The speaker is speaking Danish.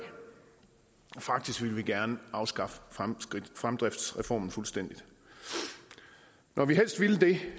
af faktisk ville vi gerne afskaffe fremdriftsreformen fuldstændig når vi helst ville det